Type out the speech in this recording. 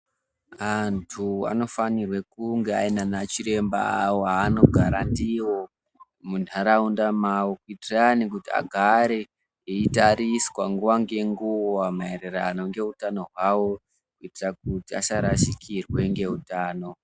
Antu anofanirwa kunge aine ana chiremba vavo vavanogara navo munharaunda mavo kuitira kuti vagare veitariswa nguva nenguva maererano neutano hwavo kuitira kuti vasarashikirwa ngeutano hwavo.